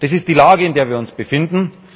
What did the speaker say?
Das ist die Lage, in der wir uns befinden.